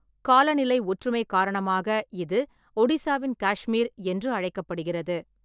காலநிலை ஒற்றுமை காரணமாக இது "ஒடிசாவின் காஷ்மீர்" என்று அழைக்கப்படுகிறது.